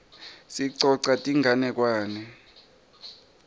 sicoca tinganekwane